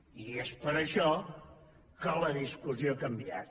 i és per això que la discussió ha canviat